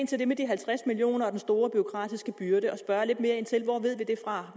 til det med de halvtreds million kroner og den store bureaukratiske byrde